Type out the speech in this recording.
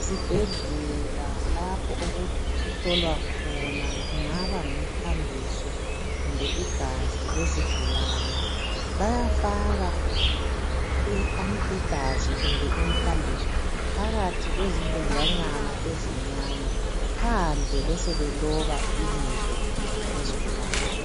Ezibhedlela lapho okuhlolwa khona kungaba ngumthambiso kumbe igazi lezigualani bayafaka igazi kumbe imthambise phakathi kwezimbhodlelanyana ezincane phandle besebeloba ibizo lesigulani.